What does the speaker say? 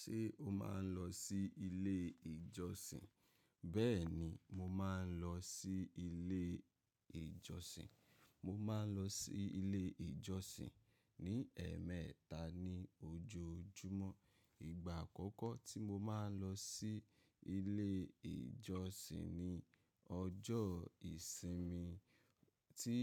Ṣé o máa ń lọ sí ilé ìjọsìn? Bẹ́ẹ̀ni, mo máa ń lọ sí ilé ìjọsìn. Mo máa ń lọ sí ilé ìjọsìn ní ẹ̀ẹ̀mẹta ní ojoojúmọ́. Ìgbà àkọ́kọ́ tí mo máa ń lọ sí ilé ìjọsìn ni ọjọ́ ìsinmi tí